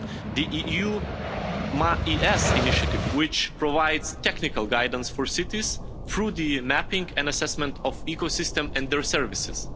The EU MAES Initiative, which provides technical guidance for cities through the mapping and assessment of ecosystems and their services